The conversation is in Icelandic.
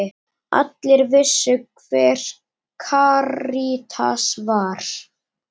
Allir vissu hver Karítas var.